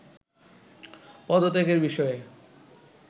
পদত্যাগের বিষয়ে